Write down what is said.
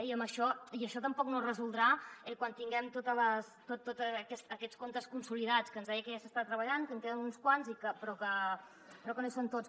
i això tampoc no es resoldrà quan tinguem tots aquests comptes consolidats que ens deia que ja s’hi està treballant que en queden uns quants però que no hi són tots